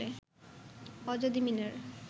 অজদী মিনার